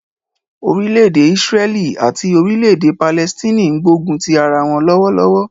Orílẹ̀-èdè Ísráẹ́lì àti Orílẹ̀-èdè Palẹstine ń gbógun ti ara wọ́n lọ́wọ́lọ́wọ́.